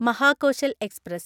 Mahakoshal express